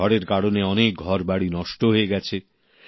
ঝড়ের কারণে অনেক ঘরবাড়ি নষ্ট হয়ে গেছে